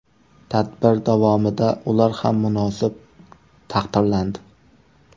Tadbir davomida ular ham munosib taqdirlandi.